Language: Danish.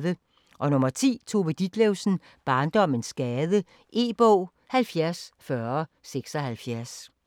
10. Ditlevsen, Tove: Barndommens gade E-bog 704076